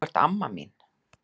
Þú ert amma mín.